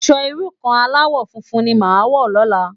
Aṣò irú kàn álàwò fúnfún ni má wò lòlá